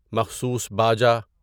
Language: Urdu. مخصوص باجا